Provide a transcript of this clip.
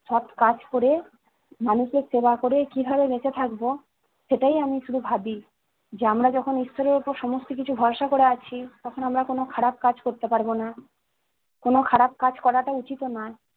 সৎ কাজ করে, মানুষের সেবা করে, কিভাবে বেঁচে থাকবো সেটাই আমি শুধু ভাবি, যে আমরা যখন ঈশ্বরের উপর সমস্ত কিছু ভরসা করে আছি, তখন আমরা কোন খারাপ কাজ করতে পারবো না। কোন খারাপ কাজ করাটা উচিতও না।